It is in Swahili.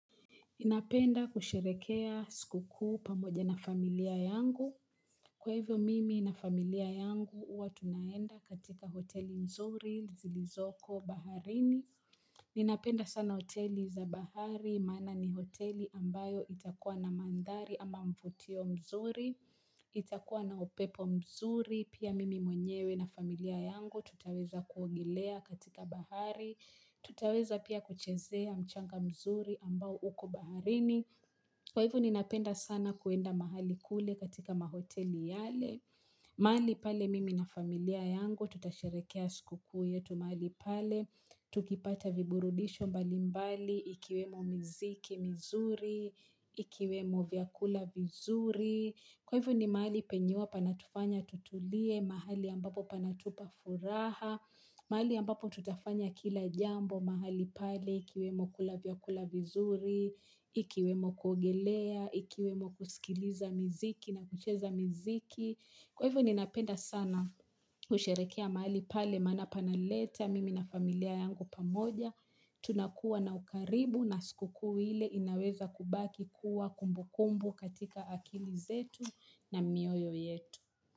Inapenda kusherehea skukuu pamoja na familia yangu. Kwa hivyo mimi na familia yangu huwa tunaenda katika hoteli mzuri, zilizoko, baharini. Ninapenda sana hoteli za bahari, maana ni hoteli ambayo itakuwa na mandari ama mfutio mzuri, itakuwa na upepo mzuri, pia mimi mwenyewe na familia yangu tutaweza kuongelea katika bahari. Tutaweza pia kuchezea mchanga mzuri ambao uko baharini. Kwa hivo ninapenda sana kuenda mahali kule katika mahoteli yale. Mahali pale mimi na familia yangu tutasherehekea skukuu yetu mahali pale. Tukipata viburudisho mbalimbali ikiwemo miziki mizuri, ikiwemo vyakula vizuri. Kwa hivo ni mahali penye huwa panatufanya tutulie, mahali ambapo panatupa furaha, mahali ambapo tutafanya kila jambo, mahali pale ikiwemo kula vyakula vizuri, ikiwemo kuogelea, ikiwemo kusikiliza miziki na kucheza miziki. Kwa hivo ninapenda sana kusherehekea mahali pale maana panaleta mimi na familia yangu pamoja. Tunakuwa na ukaribu na skukuu ile inaweza kubaki kuwa kumbu kumbu katika akili zetu na mioyo yetu.